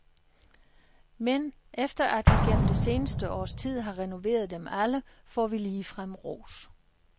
Men efter at vi gennem det seneste års tid har renoveret dem alle, får vi ligefrem ros.